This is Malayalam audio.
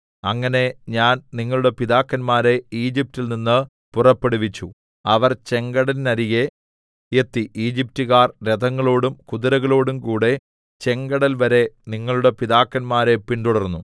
അങ്ങനെ ഞാൻ നിങ്ങളുടെ പിതാക്കന്മാരെ ഈജിപ്റ്റിൽ നിന്ന് പുറപ്പെടുവിച്ചു അവർ ചെങ്കടലിന്നരികെ എത്തി ഈജിപ്റ്റുകാർ രഥങ്ങളോടും കുതിരകളോടുംകൂടെ ചെങ്കടൽവരെ നിങ്ങളുടെ പിതാക്കന്മാരെ പിന്തുടർന്നു